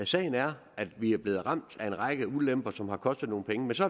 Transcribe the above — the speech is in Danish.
sagen er at vi er blevet ramt af en række ulemper som har kostet nogle penge men så